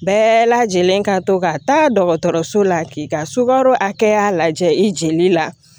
Bɛɛ lajɛlen ka to ka taa dɔgɔtɔrɔso la k'i ka sukaro hakɛya lajɛ i jeli la